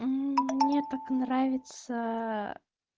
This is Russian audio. мне так нравится